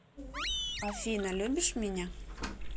афина любишь меня